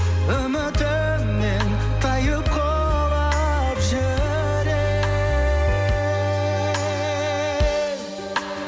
үмітімнен тайып құлап жүрек